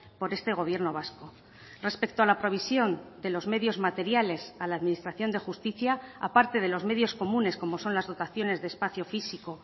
por este gobierno vasco respecto a la provisión de los medios materiales a la administración de justicia aparte de los medios comunes como son las dotaciones de espacio físico